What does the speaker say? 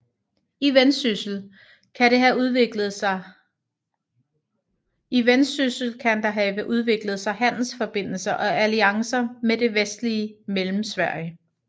I Vendsyssel kan der have udviklet sig handelsforbindelser og alliancer med det vestlige Mellemsverige